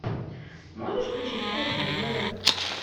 можешь включить кухня на тв